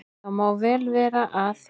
Það má vel vera að